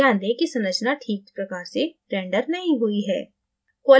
ध्यान दें कि संरचना ठीक प्रकार से रेंडर नहीं हुई है